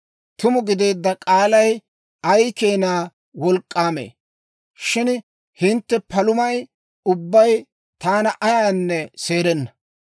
Tuma gideedda k'aalay ay keena wolk'k'aamee! Shin hintte palumay ubbay taana ayaanne seerenna.